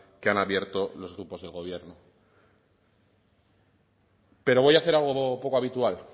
que han abierto los grupos del gobierno pero voy a hacer algo poco habitual